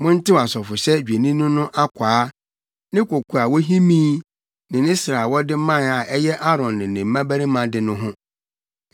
“Montew asɔfohyɛ dwennini no akwaa, ne koko a wohimii ne ne srɛ a wɔde mae a ɛyɛ Aaron ne ne mmabarima de no ho.